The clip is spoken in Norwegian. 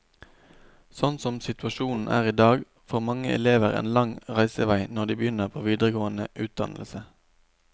Sånn som situasjonen er i dag, får mange elever en lang reisevei når de begynner på videregående utdannelse.